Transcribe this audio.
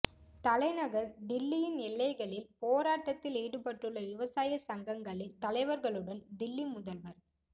தலைநகா் தில்லியின் எல்லைகளில் போராட்டத்தில் ஈடுபட்டுள்ள விவசாய சங்கங்களின் தலைவா்களுடன் தில்லி முதல்வா்